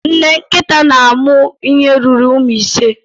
Nne nkịta na-amụ ihe ruru ụmụ ise